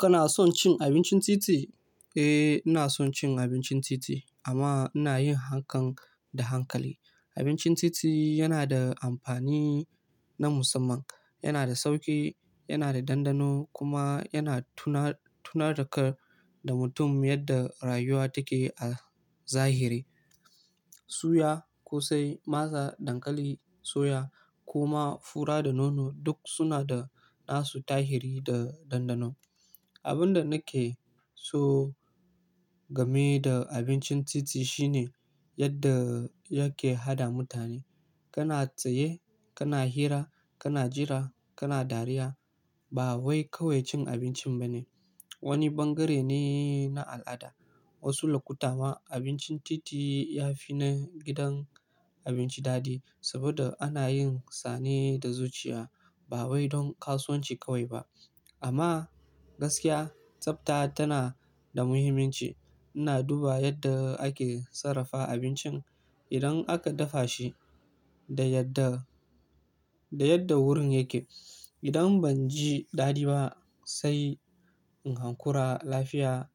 Kana son cin abincin titi? Eh, ina son cin abincin titi amma ina yin hakan da hankali. Abincin titi yana da amfani na musamman. Yana da sauƙi, yana da dandano kuma yana tunar-tunar da kar da mutum yadda rayuwa take a zahiri. Suya, ƙosai, masa, dankali, soya kuma fura da nono duk suna da nasu tahiri da dandano. Abin da nake so game da abincin titi shine yadda yake haɗa mutane. Kana tsaye, kana hira, kana jira, kana dariya. Ba wai kawai cin abinci bane, wani bangare ne na al'ada. Wasu lokuta ma abincin titi ya fi na gidan abinci dadi saboda ana yin sane da zuciya ba wai don kasuwanci kawai ba. Amma gaskiya, tsafta tana da muhimmanci. Ina duba yadda ake sarrafa abincin idan aka dafa shi da yadda-da yadda wurin yake. Idan ban ji dadi ba sai in hankura lafiya